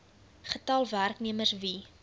getal werknemers wie